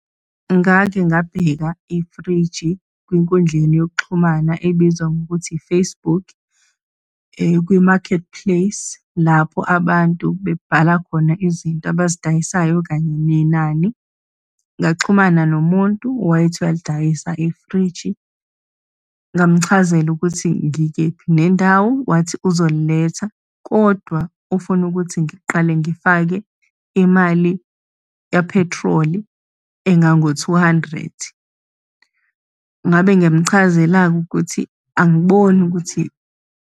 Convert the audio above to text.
Ngake ngabheka ifriji kwinkundleni yokuxhumana ebizwa ngokuthi i-Facebook, kwi-Marketplace, lapho abantu bebhala khona izinto abazidayisayo kanye nenani. Ngaxhumana nomuntu owayethi uyalidayisa ifriji, ngamchazela ukuthi ngikephi nendawo, wathi uzoliletha, kodwa ufuna ukuthi ngiqale ngifake imali yaphethroli engango-two hundred. Ngabe ngiyamchazela-ke ukuthi, angiboni ukuthi.